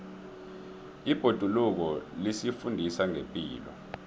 ibhoduluko lisifundisa ngepilo